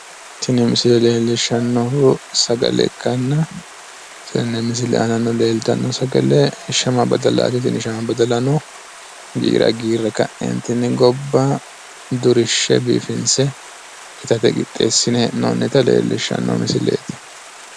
tini misile leellishshannonkehu sagale ikkanna tenne misile aanano leeltanno sagale shama badalaati tini shama badalano giira giirre ka'neentinni gobba durinshe biifinse itate qixxeessine hee'noonita leellishshanno misileeti.